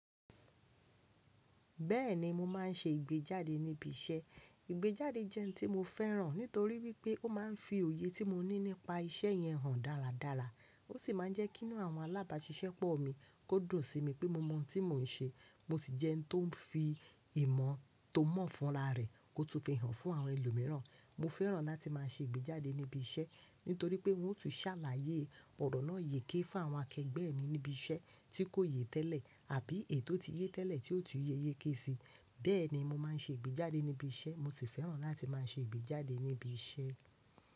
Bẹ́ẹ̀ni mo máa ń ṣe ìgbéjáde níbi iṣẹ́. Ìgbéjáde jẹ́ ẹ́ni tí mo fẹ́ràn nítorí wípẹ́ ó máa ń fi òye tí mo ní nípa iṣẹ́ yẹn hàn dáradára. Ó sì máa ń jẹ́ kìn-ínú àwọn alábàáṣiṣẹ́pọ̀ mi kó dùn si mi pé mo mọ ohun tí mo ń ṣe. Mo sì jẹ́ ẹ́ni tó ń fi ìmọ̀ tó mọ̀ fúnra rẹ̀ kó tún fi hàn fún àwọn ẹlòmíràn. Mo fẹ́ràn láti máa ṣe ìgbéjáde níbi iṣẹ́ nítorí pé wọn ó tun ṣàlàyé ọ̀rọ̀ náà yéké fún àwọn akẹgbẹ́ mi níbi iṣẹ́ tí kò yé tẹ́lẹ̀ àbí eyi totí yé tẹ́lẹ̀ tí ó tu yé yéké si. Bẹ́ẹ̀ni mo máa ń ṣe ìgbéjáde níbi iṣẹ́, mo sì fẹ́ràn láti máa ṣe ìgbéjáde níbi iṣẹ́.